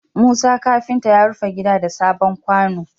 Musa kafinta ya rufe gida sabon kwano